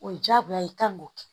O ye diyagoya ye i kan k'o kɛ